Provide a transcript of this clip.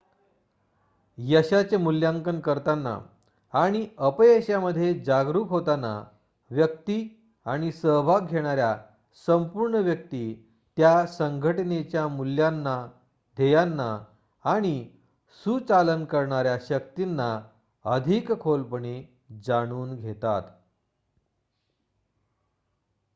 यशाचे मुल्यांकन करताना आणि अपयशाविषयी जागरूक होताना व्यक्ती आणि सहभाग घेणाऱ्या संपूर्ण व्यक्ती त्या संघटनेच्या मूल्यांना ध्येयांना आणि सुचालन करणाऱ्या शक्तींना अधिक खोलपणे जाणून घेतात